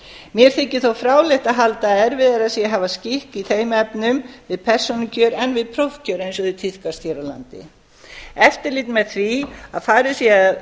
mér þykir þó fráleitt að halda að erfiðara sé að hafa skikk í þeim efnum við persónukjör en við prófkjör eftirlit með því að farið sé að